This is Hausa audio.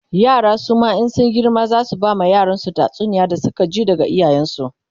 yara suma in sun girma zasu bama yaransu tatsuniyar da Suka ji daga iyayen su